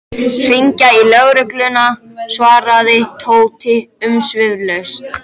Hringja í lögregluna svaraði Tóti umsvifalaust.